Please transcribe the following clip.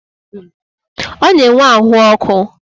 Ọ na-enwe ahụ ọkụ.